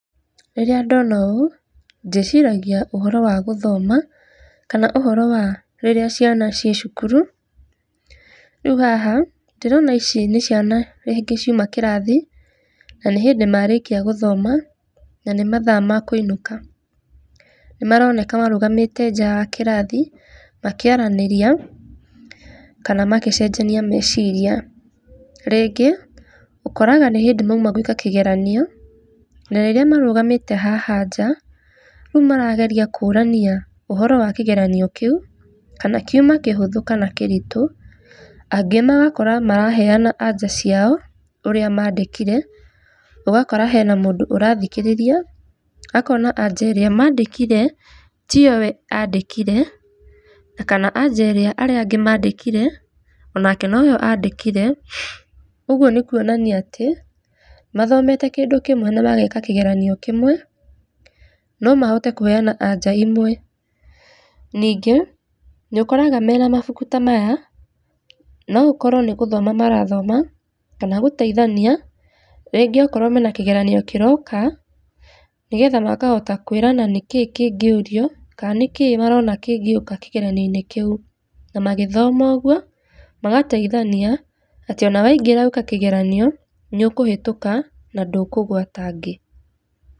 Rĩrĩa ndona ũũ, ndĩciragia ũhoro wa gũthoma kana ũhoro wa rĩrĩa ciana ciĩ cukuru. Rĩu haha ndĩrona ici nĩ ciana rĩngĩ ciuma kĩrathi, na nĩ hĩndĩ marĩkĩa gũthoma na nĩ mathaa ma kũinũka. Nĩ maronkea marũgamĩte njaa wa kĩrathi makĩaranĩria kana magĩcenjania meciria. Rĩngĩ ũkoraga nĩ hĩndĩ mauma gũĩka kĩgeranio na rĩrĩa marũgamĩte haha nja rĩu marageria kũrania ũhoro wa kĩgeranio kĩu kana kiũma kĩhũthũ kana kĩritũ angĩ magakora maraheana anja ciao ũrĩa mandĩkire ũgakora hena mũndũ ũrathikĩrĩria akona anja ĩrĩa andĩkire tiyo we andĩkire, na kana anja ĩrĩa arĩa angĩ mandĩkire onake noyo andĩkire, ũguo nĩ kuonia atĩ mathomete kĩndũ kĩmwe na mageka kĩgeranio kĩmwe no mahote kũheana anja imwe. Ningĩ, nĩ ũkoraga mena mabuku ta maya no gũkorwo nĩ gũthoma marathoma kana gũteithania rĩngĩ okorwo mena kĩgeranio kĩroka nĩgetha makahota kwĩrana nĩkĩ kĩngĩũrio, kaa nĩkĩi kĩngĩũka kĩgeranio-inĩ kĩu. Na magĩthoma ũguo magateithania, atĩ ona waingĩra gwĩka kĩgeranio nĩ ũkũhetũka na ndũkũgwa ta angĩ.